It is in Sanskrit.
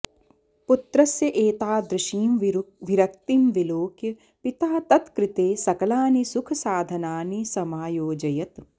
पुत्रस्य एतादृशीं विरक्तिं विलोक्य पिता तत् कृते सकलानि सुखसाधनानि समयोजयत्